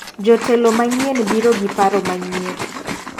Jotelo manyien biro gi paro manyien.